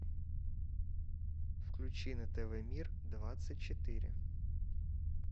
включи на тв мир двадцать четыре